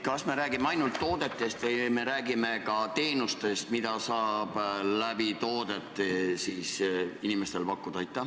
Kas me räägime ainult toodetest või me räägime ka teenustest, mida saab toodete kaudu inimestele pakkuda?